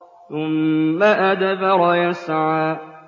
ثُمَّ أَدْبَرَ يَسْعَىٰ